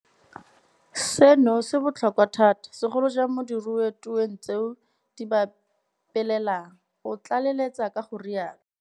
Seno se botlhokwa thata, segolo jang mo diru tweng tseo di ba pelelang, o tlaleletsa ka go rialo.